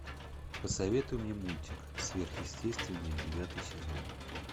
посоветуй мне мультик сверхъестественное девятый сезон